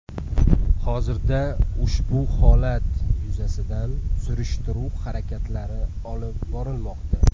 Hozirda ushbu holat yuzasidan surishtiruv harakatlari olib borilmoqda.